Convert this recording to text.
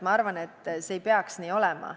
Ma arvan, et see ei peaks nii olema.